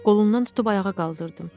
Qolundan tutub ayağa qaldırdım.